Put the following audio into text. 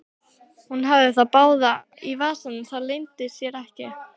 Hún hafði þá báða í vasanum, það leyndi sér ekki.